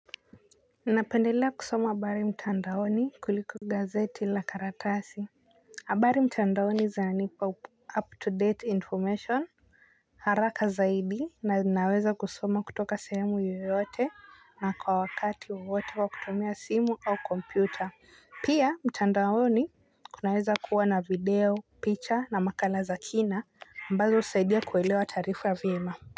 Napendelea kusoma habari mtandaoni kuliko gazeti la karatasi. Habari mtandaoni zinanipa up up to date information. Haraka zaidi na ninaweza kusoma kutoka sehemu yoyote na kwa wakati wowote kwa kutumia simu au kompyuta. Pia mtandaoni kunaweza kuwa na video picha na makala za kina ambazo husaidia kuelewa taarifa vyema.